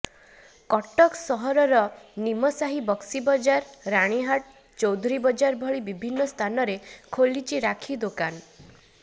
କଟକ ସହରର ନିମସାହି ବକ୍ସିବଜାର ରାଣୀହାଟ ଚୌଧୁରୀ ବଜାର ଭଳି ବିଭିନ୍ନ ସ୍ଥାନରେ ଖୋଲିଛି ରାକ୍ଷୀ ଦୋକାନ